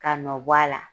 Ka nɔ bɔ a la